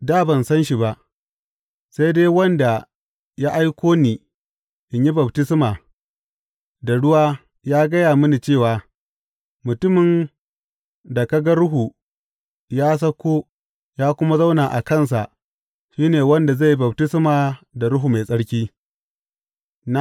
Dā ban san shi ba, sai dai wanda ya aiko ni in yi baftisma da ruwa ya gaya mini cewa, Mutumin da ka ga Ruhu ya sauko ya kuma zauna a kansa shi ne wanda zai yi baftisma da Ruhu Mai Tsarki.’